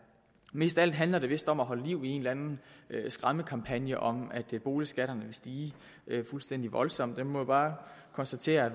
mest af alt handler det vist om at holde liv i en eller anden skræmmekampagne om at boligskatterne vil stige fuldstændig voldsomt men vi må bare konstatere at